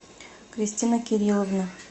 кристина кирилловна